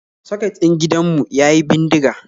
Soket din gidan mu yayi bindiga